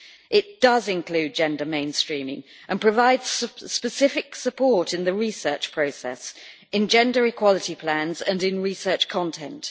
It includes gender mainstreaming and provides specific support in the research process, in gender equality plans and in research content.